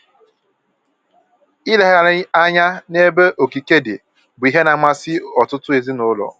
Ilegharị anya n'ebe okike dị bụ ihe na-amasị ọtụtụ ezinụlọ